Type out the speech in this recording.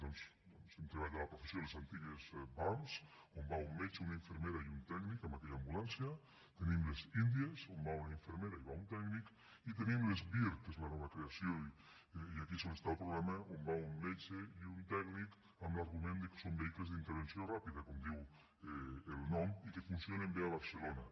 doncs per als que hem treballat a la professió les antigues vam on va un metge una infermera i un tècnic en aquella ambulància tenim les india on va una infermera i va un tècnic i tenim les vir que és la nova creació i aquí és on està el problema on va un metge i un tècnic amb l’argument que són vehicles d’intervenció ràpida com diu el nom i que funcionen bé a barcelona